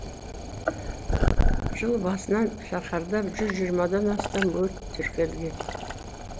жыл басынан шаһарда жүз жиырмадан астам өрт тіркелген